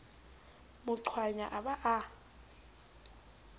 mo qwaya a ba a